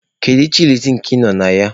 Kedu chịlịs nke ị nọ na ya?